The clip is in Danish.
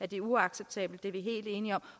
det uacceptabelt det er vi helt enige om